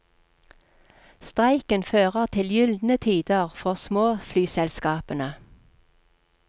Streiken fører til gyldne tider for småflyselskapene.